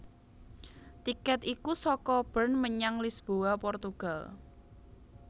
Tikèt iku saka Bern menyang Lisboa Portugal